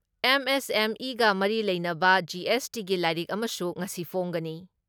ꯑꯦꯝ.ꯑꯦꯁ.ꯑꯦꯝ.ꯏꯒ ꯃꯔꯤ ꯂꯩꯅꯕ ꯖꯤ.ꯑꯦꯁ.ꯇꯤꯒꯤ ꯂꯥꯏꯔꯤꯛ ꯑꯃꯁꯨ ꯉꯁꯤ ꯐꯣꯡꯒꯅꯤ ꯫